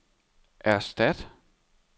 erstat